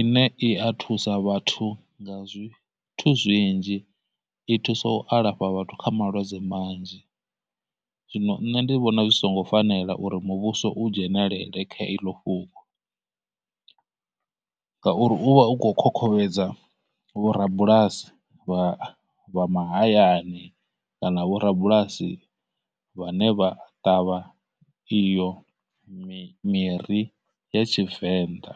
ine i a thusa vhathu nga zwithu zwinzhi, i thusa u alafha vhathu kha malwadze manzhi, zwino nṋe ndi vhona zwi songo fanela uri muvhuso u dzhenelele kha iḽo fhungo, ngauri uvha u khou khokhovhedza vho rabulasi vha vha mahayani kana vho rabulasi vhane vha ṱavha iyo miri ya Tshivenḓa.